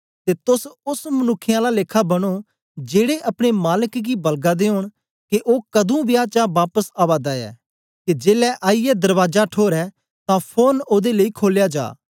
ते तोस ओस मनुक्खें आला लेखा बनो जेड़े अपने मालक गी बलगा दे ओंन के ओ कदुं बियाह चा बापस आवा दा ऐ के जेलै आईयै दरबाजा ठोरै तां फोरन ओदे लेई खोलया जा